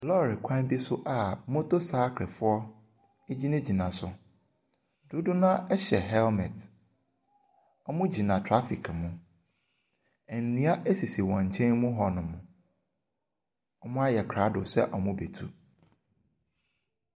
Lɔre kwan bi so a motorcycle foɔ gyinagyina so. Dodoɔ no ara hyɛ helmet. Wɔgyina traffic mu. Nnua sisi wɔn nkyɛn mu hɔnom. Wɔayɛ krado sɛ wɔrebɛtu.